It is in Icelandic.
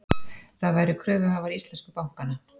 Það væru kröfuhafar íslensku bankanna